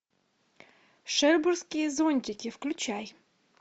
шербурские зонтики включай